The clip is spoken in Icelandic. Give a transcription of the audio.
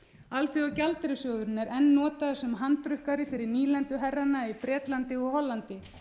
alþjóðagjaldeyrissjóðurinn er enn notaður sem handrukkari fyrir nýlenduherrana í bretlandi og hollandi